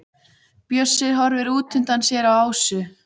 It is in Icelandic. Bjössi horfir útundan sér á Ásu.